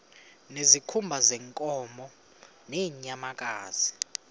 ngezikhumba zeenkomo nezeenyamakazi